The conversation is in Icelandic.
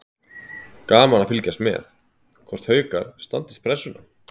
Gaman að fylgjast með: Hvort Haukar standist pressuna.